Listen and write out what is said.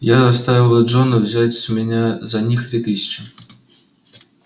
я заставил джона взять с меня за них три тысячи